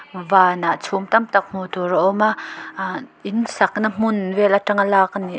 vanah chhum tam tak hmuh tur a awm a ahh in sakna hmun vel atanga lak a ni--